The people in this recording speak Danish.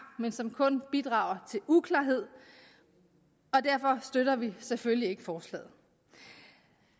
men som kun bidrager til uklarhed og derfor støtter vi selvfølgelig ikke forslaget